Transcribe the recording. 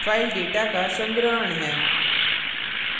file data का संग्रहण है